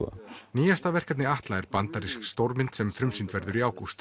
nýjasta verkefni Atla er bandarísk stórmynd sem frumsýnd verður í ágúst